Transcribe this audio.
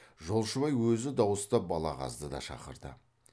жолшыбай өзі дауыстап балағазды да шақырды